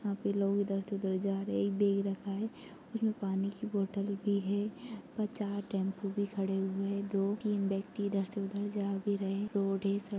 यहाँ पे लोग इधर से उधर जा रहे है एक बैग रखा है उसमे पानी की बोटल भी है ऊपर चार टेम्पो भी खड़े हुए है दो तीन व्यक्ति इधर से उधर जा भी रहे है रोड है सड़क --